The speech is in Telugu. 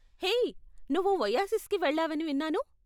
హే, నువ్వు ఒయాసిస్కి వెళ్ళావని విన్నాను.